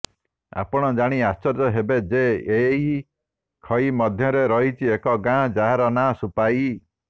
ଆପଣ ଜାଣି ଆଶ୍ଚର୍ଯ୍ୟ ହେବେ ଯେ ଏହି ଖାଇ ମଧ୍ୟରେ ରହିଛି ଏକ ଗାଁ ଯାହାର ନା ସୁପାଇ